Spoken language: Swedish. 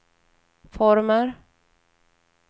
former